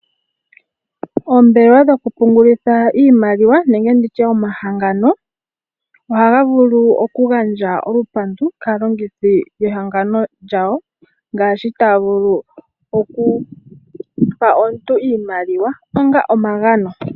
Oombelewa dhokupungulitha iimaliwa nenge nditye omahangano ohaga vulu okugandja olupandu kaalongithi yehangano lyawo ngaashi taa vulu okupa omuntu iimaliwa onga omagano.